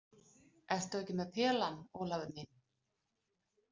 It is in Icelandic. Ertu ekki með pelann, Ólafur minn?